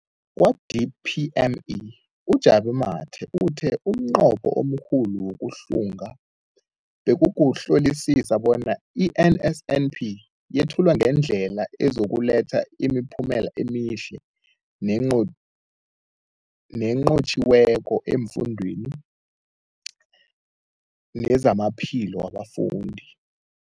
Kwa-DPME, uJabu Mathe, uthe umnqopho omkhulu wokuhlunga bekukuhlolisisa bona i-NSNP yethulwa ngendlela ezokuletha imiphumela emihle nenqotjhiweko efundweni nezamaphilo wabafundi.